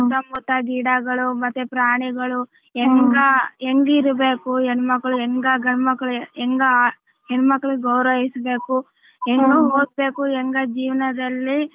ಸುತ್ತ ಮುತ್ತ ಗಿಡಗಳು ಮತ್ತೆ ಪ್ರಾಣಿಗಳು ಎಂಗಾ ಎಂಗಿರಬೇಕು ಹೆಣ್ಮಕ್ಕಳು ಎಂಗ್ ಗಂಡಮಕ್ಕಳ್ ಎಂಗಾ ಹೆಣ್ಮಕ್ಕಳು ಗೌರವ ಹೆಚ್ಚಬೇಕು ಎಂಗಾ ಓದಬೇಕು ಎಂಗಾ ಜೀವನದಲ್ಲಿ.